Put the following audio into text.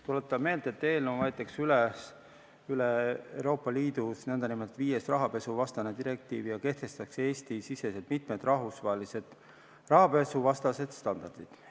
Tuletan meelde, et eelnõuga võetakse üle Euroopa Liidus nn viies rahapesuvastane direktiiv ja kehtestatakse Eesti-siseselt mitmed rahvusvahelised rahapesuvastased standardid.